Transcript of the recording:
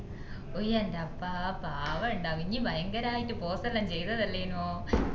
ഉയ്യന്റെ അപ്പാ പാവണ്ടാവും ഇഞ്ഞി ഭയങ്കരായിട്ട് pose ല്ലും ചെയ്തതല്ലെനോ